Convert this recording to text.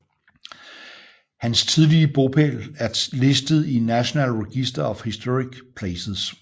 Hans tidligere bopæl er listet i National Register of Historic Places